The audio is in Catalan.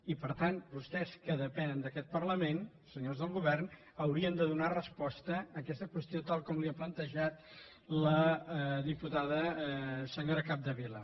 i per tant vostès que depenen d’aquest parlament senyors del govern haurien de donar resposta a aquesta qüestió tal com els l’ha plantejat la diputada senyora capdevila